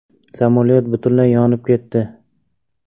Samolyot butunlay yonib ketdi.